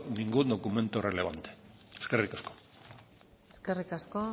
ningún documento relevante eskerrik asko eskerrik asko